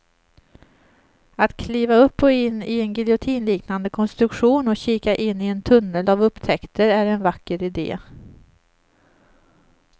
Att kliva upp och in i en giljotinliknande konstruktion och kika in i en tunnel av upptäckter är en vacker idé.